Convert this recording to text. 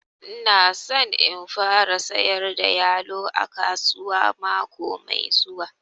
Ina son in fara sayar da yalo a kasuwa mako mai zuwa